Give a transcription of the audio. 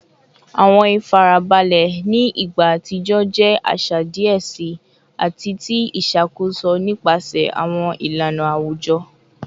Awọn ifarabalẹ ni igba atijọ jẹ aṣa diẹ sii ati ti iṣakoso nipasẹ awọn ilana awujọ